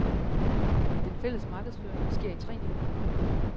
Den fælles markedsføring sker i tre niveauer.